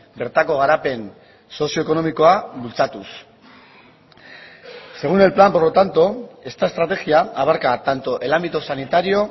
bertako garapen sozioekonomikoa bultzatuz según el plan por lo tanto esta estrategia abarca tanto el ámbito sanitario